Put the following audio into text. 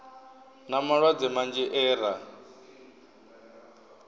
na malwadze manzhi e ra